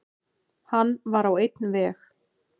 Hann var á einn veg.